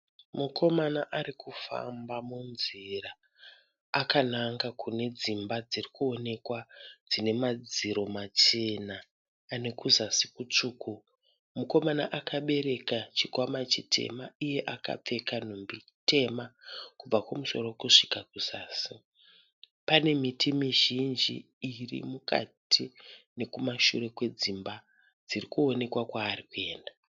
Mukomana ari kufamba munzira akananga kune dzimba dziri kuonekwa dzine madziro machena ane kuzasi kutsvuku. Mukomana akabereka chikwama chitema iye akapfeka nhumbi tema kubva kumusoro kusvika kuzasi. Panemiti mizhinji iri mukati nekumashure kwedzimba dziri kuoneka kwaari kuenda.